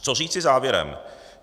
Co říci závěrem?